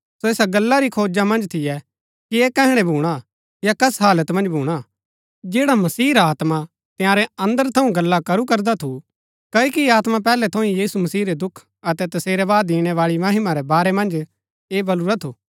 सो ऐसा गल्ला री खोज मन्ज थियै कि ऐह कैहणै भूणा या कस हालत मन्ज भूणा जैड़ा मसीह रा आत्मा तंयारै अन्दर थऊँ गल्ला करू करदा थू क्ओकि आत्मा पैहलै थऊँ ही यीशु मसीह रै दुख अतै तसेरै बाद इणै बाळी महिमा रै बारै मन्ज ऐह बलुरा थू